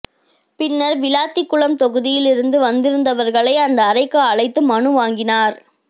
பின்னர் விளாத்திக்குளம் தொகுதியில் இருந்து வந்திருந்தவர்களை அந்த அறைக்கு அழைத்து மனு வாங்கினார்